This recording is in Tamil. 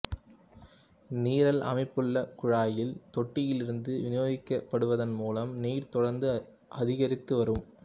நிரல் அமைப்புள்ள குழாயில் தொட்டியிலிருந்து விநியோகிக்கப்படுவதன் மூலம் நீர் தொடர்ந்து அதிகரித்துவரும்